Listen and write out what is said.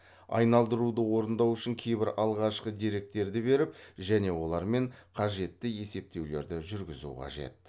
айналдыруды орындау үшін кейбір алғашқы деректерді беріп және олармен қажетті есептеулерді жүргізу қажет